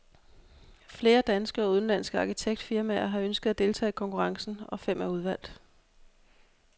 Flere danske og udenlandske arkitektfirmaer har ønsket at deltage i konkurrencen, og fem er udvalgt.